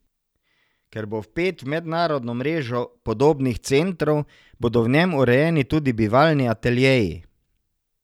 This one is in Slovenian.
Ker bo vpet v mednarodno mrežo podobnih centrov, bodo v njem urejeni tudi bivalni ateljeji.